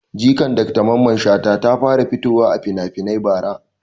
Jikan Dr mamman shata ta fara fitowa a finafinai bara